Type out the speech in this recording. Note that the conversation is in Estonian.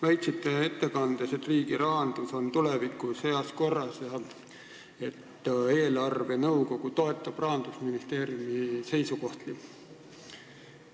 Väitsite ettekandes, et riigirahandus on tulevikus heas korras ja eelarvenõukogu toetab Rahandusministeeriumi seisukohti.